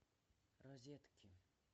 розетки